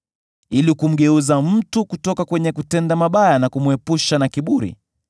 ili kumgeuza mtu kutoka kwenye kutenda mabaya na kumwepusha na kiburi,